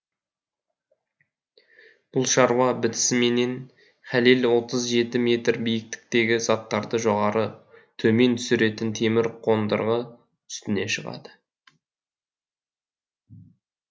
бұл шаруа бітісіменен хәлел отыз жеті метр биіктіктегі заттарды жоғары төмен түсіретін темір қондырғы үстіне шығады